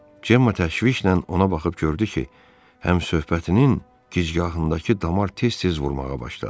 Cemma təşvişlə ona baxıb gördü ki, həmsohbtinin gicgahındakı damar tez-tez vurmağa başladı.